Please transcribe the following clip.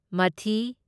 ꯃꯊꯤ